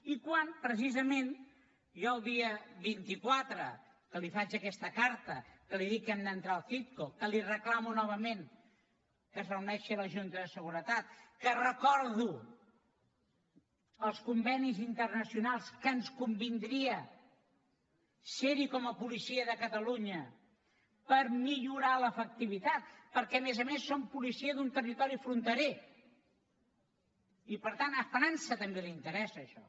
i quan precisament jo el dia vint quatre que li faig aquesta carta que li dic que hem d’entrar al citco que li reclamo novament que es reuneixi la junta de seguretat que recordo els convenis internacionals que ens convindria serhi com a policia de catalunya per millorar l’efectivitat perquè a més a més som policia d’un territori fronterer i per tant a frança també li interessa això